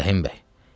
Rəhim bəy.